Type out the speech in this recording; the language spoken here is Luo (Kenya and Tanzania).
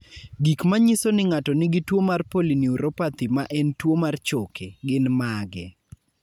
Gik manyiso ni ng'ato nigi tuwo mar polyneuropathy ma en tuwo mar choke, gin mage?